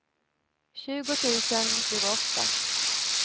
tjugo tusen tjugoåtta